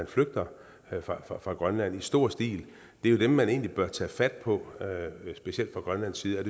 flygter fra grønland i stor stil er jo dem man egentlig bør tage fat på specielt fra grønlands side